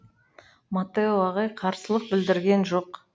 маттео ағай қарсылық білдірген жоқ